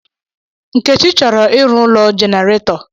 Nkechi chọrọ ịru ụ̣lọ jenereto